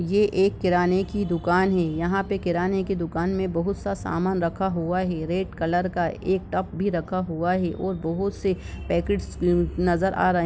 यह एक किराने की दुकान है यहा पे किराणे की दुकान मे बहुत सा समान रखा हुआ है रेड कॉलर का एक टप भी रखा हुआ है और बहुत से पाकेट नजर आ रहा है।